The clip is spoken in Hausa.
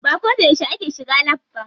Ba ko da yauce ake shiga lab ba.